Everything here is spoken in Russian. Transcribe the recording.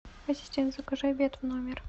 ассистент закажи обед в номер